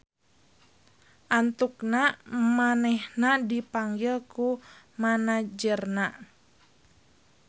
Antukna manehna dipanggil ku manajerna.